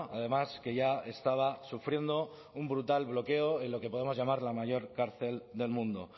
además que ya estaba sufriendo un brutal bloqueo en lo que podemos llamar la mayor cárcel del mundo